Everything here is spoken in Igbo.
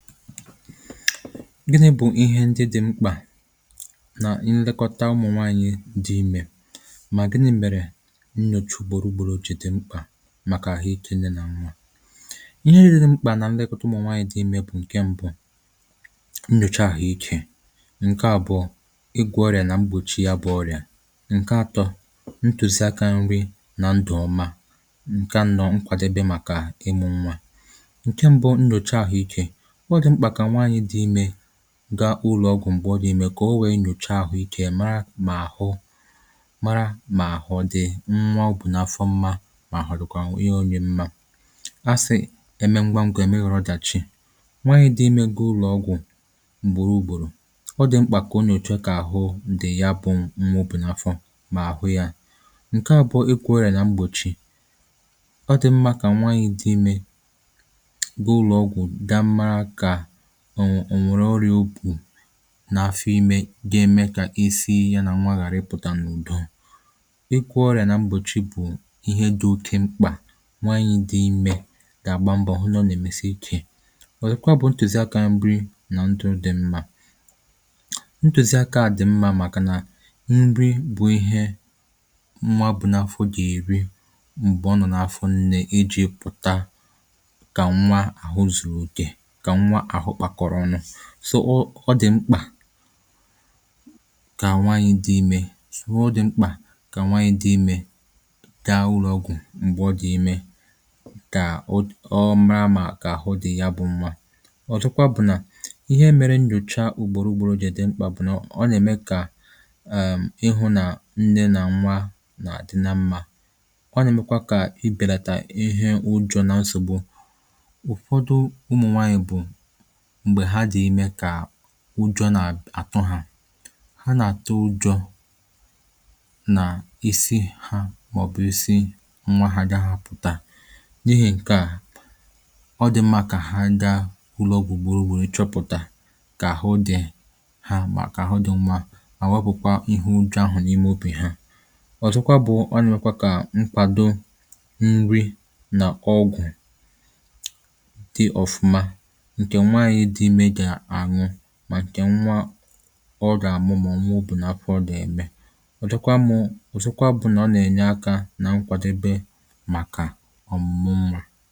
gịnị̄ bụ̀ ihe ndị dị̄ mkpà? nà nlekọta ụmụ̀nwaànyị dị imē mà gɪ́nɪ̄ mèrè ńɲòʧé ùgbòró ùgbòró jì dɪ́ ḿkpà màkà àhụ ikē nne nà nnà ihe rị̄rị̄ mkpà nà nlekọta ụmụ̀nwaànyị dị imè bụ̀ ǹke m̄bụ̄ nnyòcha àhụ ikē ǹke àbụọ̄ ịgwọ̄ ọrị̀à nà mgbòchi ya bụ̀ ọrị̀à ǹke ātọ̄ ntùzi akā nri nà ndụ̀ ọma ǹke ȧnọ̄ nkwàdebe màkà ị̣mụ̄ nwa ǹke m̄bụ̄ nnyòcha àhụ ikē ọ dị̀ mkpà kà nwaànyị dị imē gaa ụlọ̀ ọgwụ̀ m̀gbè ọ dị̀ imē kà o wèe nyòchee àhụ ikē ya mara mà àhụ mara mà àhụ̀ dị̀ nwa o bù n’afọ mmā mà àhụ ọ̀dị̀kwà nwunyē onye mmā a sị̀, e mee ngwa n̄gwā, è meghàrụ ọdàchi nwaànyɪ̣ dị̄ imē gaa ụlọ̀ ọgwụ̀ ùgbòro ùgbòrò, ọ dị̀ mkpà kà o nyòchee kà àhụ dị ya bụ̄ nwa o bù n’afọ mà àhụ yā, ǹkeà bụ igwọ̄ ọrị̀à nà mgbòchi ọ dị̀ ḿmā kà nwaànyị dị̄ imē gaa ụlọ̀ ọgwụ̀ ga mara kà ò ò nwèrè ọrị̀à o bù n’afọ imē ga-eme kà isi ya nà nwa ghàra ịpụ̀tà n’ùdo ịgwọ̄ ọrị̀à nà mgbòchi bụ̀ ihe dị̄ oke mkpà nwaànyị dị̄ imē gà-àgba mbọ̀ hụ nà ọ nà-èmesi ikē wèrụkwa bụ̄ ntùzi akā nrị nà ndụ̄ di̇ mmā ntùzi akā dị̀ mmā màkà nà nri bụ̄ ihe nwa bù n’afọ gà-èri m̀gbè ọ nọ̀ n’afọ nnē ijī pụ̀ta kà nwa àhụ zùrù òkè kà nwa àhụ kpàkọ̀rọ̀ ọnụ̄ sọ̀ ọ, ọ dị̀ mkpà kà nwaànyị dị imē sụ̀wo dị̀ mkpà kà nwaànyị dị imē gaa ụlọ̀ ọgwụ̀ m̀gbè ọ dị̀ imē kà ud ọ mara mà kà àhụ dị̀ ya bụ̄ nwa ọ̀zọkwa bụ̀ nà ihe mere nnyòcha ùgbòro ùgbòro jì dị mkpà bụ̀ nà ọ nà-ème kà èm̀ ịhụ̄ nà nne nà nwa nà-àdị na mmā ọ nà-èmekwa kà ibènàtà ihe ụjọ̄ nà nsògbu ụ̀fọdụ ụmụ̀nwaanyị̀ bụ̀ m̀gbè ha dị̀ imē kà ụjọ̄ nà-àtụ hā ha nà-àtụ ụjọ̄ nà isi hā màọ̀bụ̀ isi nwā ha àgahā apụ̀ta n’ihì ǹkeà ọ dị̀ mmā kà ha gaa ụlọ̀ ọgwụ̀ gboo wèe chọpụ̀ta kà àhụ dị̀ ha mà kà àhụ dị nwa mà wepụ̀kwa ihu nkeà n’ime obì ha ọ̀zọkwa bụ̄ ọ nà-èmekwa kà nkwàdo nrị nà ọgwụ̀ dị ọfụma ǹkè nwaànyị dị imè gà-àn̄ụ mà ǹkè nwa ọ gà-àmụ mà nwa o bù n’afọ dị̀ ème ụ̀dịkwa mụ̄, ọ̀zọkwa bụ̀ nà ọ nà-ènye akā na nkwàdebe màkà ọ̀mụ̀mụ nwā